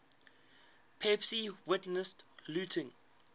pepys witnessed looting